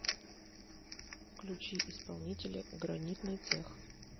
включи исполнителя гранитный цех